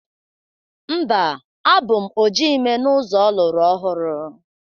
Mba, abụ m oji ime n'ụzọ ọlụrọhụrụ.